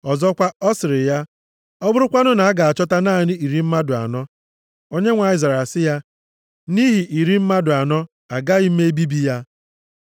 Ọzọkwa, ọ sịrị ya, “Ọ bụrụkwanụ na a ga-achọta naanị iri mmadụ anọ?” Onyenwe anyị zara sị ya, “Nʼihi iri mmadụ anọ, agaghị m ebibi ya.”